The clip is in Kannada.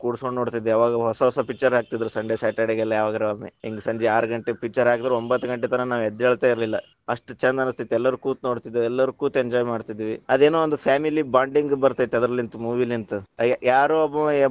ಕೂರ್ಸ್ಕೊಂಡ ನೋಡ್ತಿದ್ದೆ, ಅವಾಗ ಹೊಸಹೊಸ picture ಹಾಕತಿದ್ರು Sunday Saturday ಗೆಲ್ಲಾ, ಯಾವಾಗರೊಮ್ಮೆ ಹಿಂಗ್‌ ಸಂಜೆ ಆರಘಂಟೆಗ picture ಹಾಕಿದ್ರ ರಾತ್ರಿ ಒಂಭತ್ತ್‌ ಘಂಟೆತನ ನಾವ್‌ ಎದ್ದೇಳ್ತಾ ಇರ್ಲಿಲ್ಲ ಅಷ್ಟ್ ಛಂದ ಅನ್ಸ್ತಿತ್ ಎಲ್ಲಾರು ಕೂತುನೋಡತಿದ್ವಿ. ಎಲ್ಲಾರೂ ಕೂತ್ enjoy ಮಾಡತಿದ್ವಿ. ಅದೇನೋ ಒಂದ family bonding ಬರ್ತೇತಿ, ಅದರಲಿಂತ್ movie ಲಿಂತ್‌ ಅ ಯಾರೋ ಒಬ್ಬ.